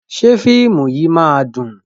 Ṣé fíìmù yìí máa dùn?